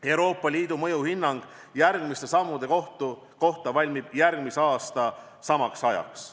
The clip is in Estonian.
Euroopa Liidu mõjuhinnang järgmiste sammude kohta valmib järgmise aasta samaks ajaks.